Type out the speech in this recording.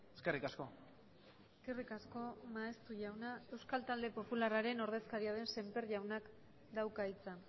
eskerrik asko eskerrik asko maeztu jauna euskal talde popularraren ordezkaria den semper jaunak dauka hitza